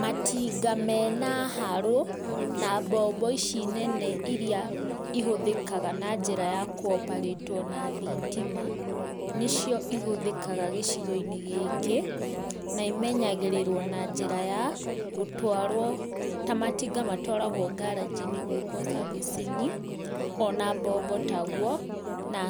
Matinga mena harũ na mbombo ici nene iria ihũthĩkaga na njĩra ya kũoparĩtwo na thitima, nĩcio ihũthĩkaga gĩcigo-inĩ gĩkĩ, na imenyagĩrĩrwo na njĩra ya gũtwarwo, ta matinga matwaragwo ngaranji nĩ gwĩkwo servicing, ona mbombo taguo, na